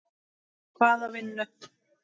Hvaða vinnu?